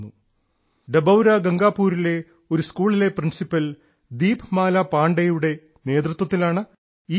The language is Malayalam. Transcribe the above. ഡബൌര ഗംഗാപൂരിലെ ഒരു സ്കൂളിലെ പ്രിൻസിപ്പൽ ദീപ്മാലാ പാണ്ഡെയുടെ നേതൃത്വത്തിലാണ് ഈ പ്രചാരണം